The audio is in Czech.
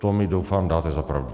To mi, doufám, dáte za pravdu.